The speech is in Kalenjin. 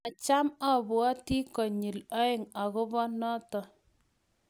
macham abwoti konyil oeng akobo noto